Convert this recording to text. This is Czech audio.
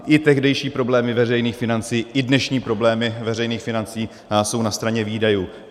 I tehdejší problémy veřejných financí, i dnešní problémy veřejných financí jsou na straně výdajů.